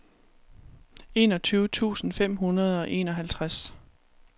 enogtyve tusind fem hundrede og enoghalvtreds